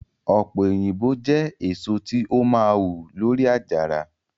ope oyinbo jẹ eso ti o maa hu lori ajara